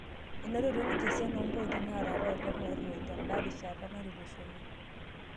Enotito ninje esiana oopointi naata apailong' arroi tenda rishata natulusoyie